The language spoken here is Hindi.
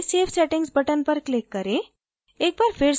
नीचे save settings button पर click करें